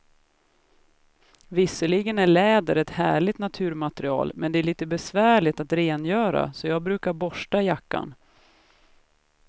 Visserligen är läder ett härligt naturmaterial, men det är lite besvärligt att rengöra, så jag brukar borsta jackan.